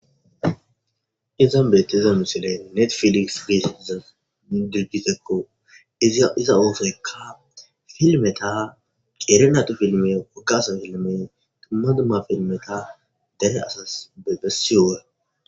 Izan beettiza misiley netfiliks geetettiza idirjitekko iza iza oosoykka filmeta qeerni atu filme wogga asa filmme dumma dumma filmeta dare asas bessiyowo.